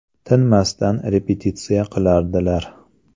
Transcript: Tinmasdan repetitsiya qilardilar.